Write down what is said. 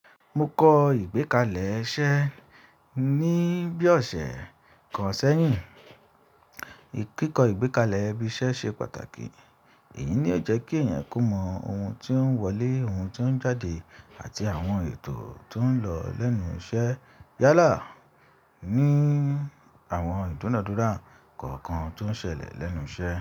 Mo kọ ìgbékalẹ̀ iṣẹ́ ní bí ọ̀sẹ̀ kan sẹ́yìn. Kíkọ ìgbékalẹ̀ ibi iṣẹ́ ṣe pàtàkì. Èyí ni ó jẹ́ kí èèyàn kó mọ ohun tí ó ń wọlé, ohun tí ó ń jáde àti àwọn ètò tó ń lọ lẹ́nu iṣẹ́ yálà ní àwọn ìdúnàádúrà kọ̀ọ̀kan tó ń ṣẹlẹ̀ lẹ́nu iṣẹ́.